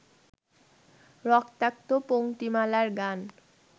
রক্তাক্ত পংক্তিমালার গান